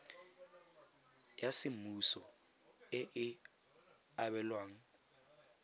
ya semmuso e e abelwang